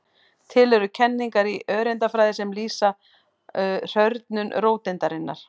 Til eru kenningar í öreindafræði sem lýsa hrörnun róteindarinnar.